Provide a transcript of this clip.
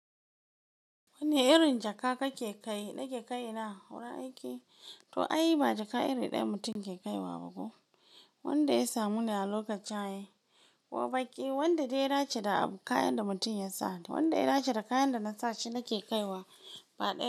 Wanne irin jaka kake kai? Na ke kai na wurin aiki, to ai ba jaka iri ɗaya mutum ke kaiwa ba ko. Wanda ya samu na lokacin shaye ko baƙi, wanda dai ya dace da kayan da mutum yasa. Wanda ya dace da kayan da nasa shi nake kaiwa ba ɗaya.